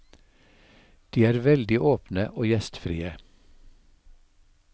De er veldig åpne og gjestfrie.